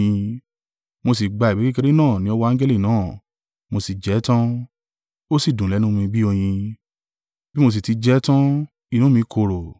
Mo sì gba ìwé kékeré náà ni ọwọ́ angẹli náà mo sì jẹ ẹ́ tan; ó sì dùn lẹ́nu mi bí oyin; bí mo sì tí jẹ ẹ́ tan, inú mi korò.